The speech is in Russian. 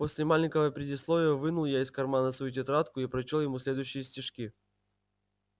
после маленького предисловия вынул я из кармана свою тетрадку и прочёл ему следующие стишки